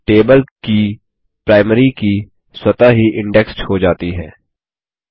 table की primary key स्वतः ही इंडेक्स्ड क्रमबद्ध हो जाती है